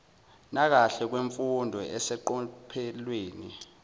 nakahle kwemfundo eseqophelweni